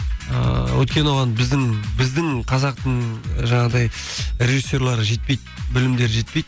ыыы өйткені оған біздің қазақтың жаңағыдай режиссерлары жетпейді білімдері жетпейді